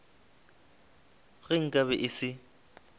ge nka be e se